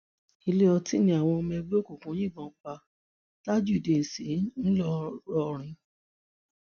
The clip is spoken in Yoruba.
ilé ọtí ni àwọn ọmọ ẹgbẹ òkùnkùn yìnbọn pa tajudeen sí ńlọrọìn